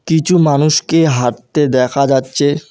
কিছু মানুষকে হাঁটতে দেখা যাচ্ছে।